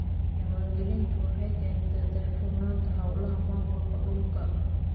Diiwaangelintu waxay keentaa daahfurnaanta hawlaha maamulka dhulka.